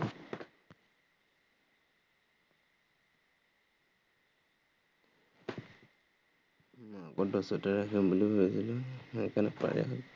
সেই কাৰনে পাৰে আৰু।